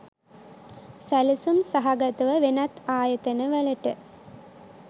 සැලසුම් සහගතව වෙනත් ආයතන වලට